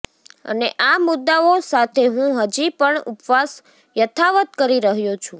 અને આ મુદ્દાઓ સાથે હું હજી પણ ઉપવાસ યથાવત કરી રહ્યો છું